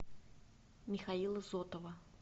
михаила зотова